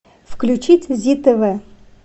включить зи тв